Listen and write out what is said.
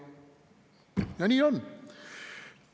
Ja nii on.